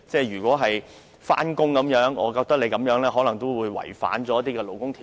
如果議員是上班人士，你這樣做可能違反勞工條例。